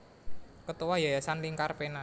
Ketua Yayasan Lingkar Pena